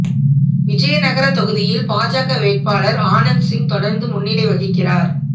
விஜயநகர தொகுதியில் பாஜக வேட்பாளர் ஆனந்த் சிங் தொடர்ந்து முன்னிலை வகிக்கிறார்